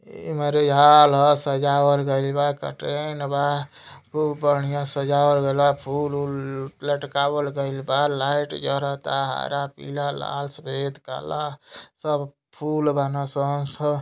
इ marriage hall ह सजावल गइल बा कटरैन बा खूब बढ़िया से सजावल गइल बा फूल वूल लटकावल गइल बा लाइट जरता हरा पीरा लाल सफेद काला सब फूल बान सं सब --